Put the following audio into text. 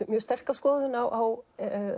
mjög sterka skoðun á